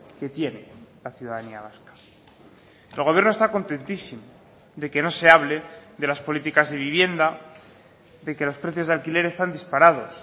que tiene la ciudadanía vasca el gobierno está contentísimo de que no se hable de las políticas de vivienda de que los precios de alquiler están disparados